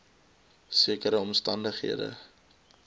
sekere omstan dighede